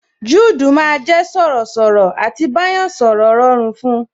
Juudu máa jẹ sọ̀rọ̀ sọ̀rọ̀, à ti bá yàn sọ̀rọ̀ rọrùn fun